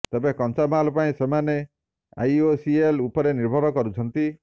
ତେବେ କଞ୍ଚା ମାଲ ପାଇଁ ସେମାନ ଆଇଓସିଏଲ୍ ଉପରେ ନିର୍ଭର କରୁଛନ୍ତି